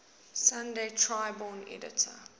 sunday tribune editor